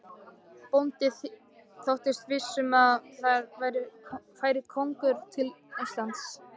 Bóndi þóttist viss um að þar færi konungur Íslands.